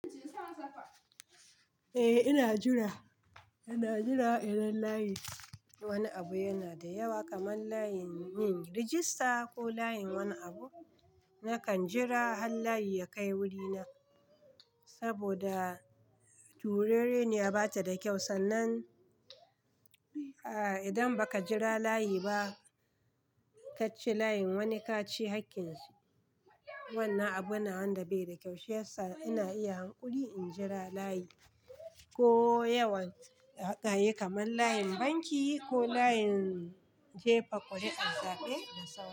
Eh ina jira, ina jira idan layi wani abu yana da yawa kamar layin yin rajista ko layin wani abu, nakan jira har layi ya kai wurina saboda turere niya ba ta da kyau. Sannan idan ba ka jira layi ba ka ci layin wani ka ci haƙƙinsu, wannan abu na wanda bai da kyau shiyasa ina iya hanƙuri in jira layi ko yawan hakai kamar layin banki ko layin jefa ƙuri'ar zaɓe da saura.